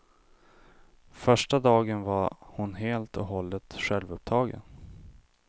Första dagen var hon helt och hållet självupptagen.